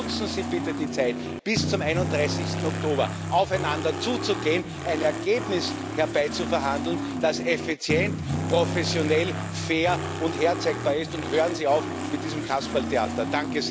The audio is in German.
Daher Nutzen Sie bitte die Zeit bis zum 31. Oktober, um aufeinander zuzugehen, ein Ergebnis herbeizuverhandeln, das effizient, professionell, fair und herzeigbar ist, und hören Sie auf mit diesem Kasperltheater!